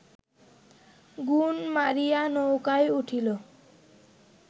গুণ মারিয়া নৌকায় উঠিল